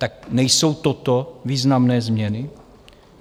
Tak nejsou toto významné změny?